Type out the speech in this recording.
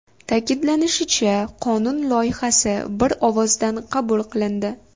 Ta’kidlanishicha, qonun loyihasi bir ovozdan qabul qilindi.